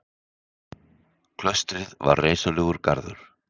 Klaustrið var reisulegur garður.